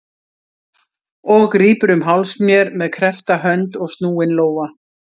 Og grípur um háls mér með kreppta hönd og snúinn lófa.